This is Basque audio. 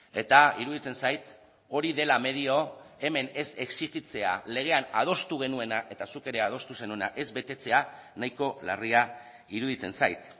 eta iruditzen zait hori dela medio hemen ez exijitzea legean adostu genuena eta zuk ere adostu zenuena ez betetzea nahiko larria iruditzen zait